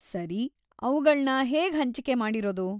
ಸರಿ, ಅವ್ಗಳ್ನ ಹೇಗ್‌ ಹಂಚಿಕೆ ಮಾಡಿರೋದು?